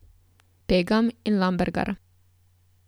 Pegam in Lambergar.